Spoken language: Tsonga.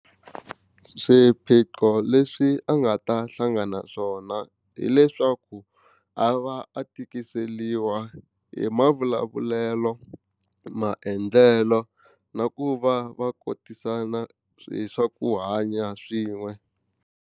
Swiphiqo leswi a nga ta hlangana ba swona hileswaku a va a tikiseliwa hi mavulavulelo maendlelo na ku va va kotisana hi swa ku hanya swin'we.